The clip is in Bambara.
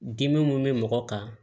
Dimi mun bɛ mɔgɔ kan